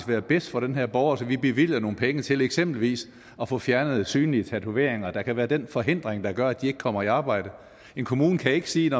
være bedst for den her borger så vi bevilger nogle penge til for eksempel at få fjernet synlige tatoveringer der kan være den forhindring der gør at de ikke kommer i arbejde en kommune kan ikke sige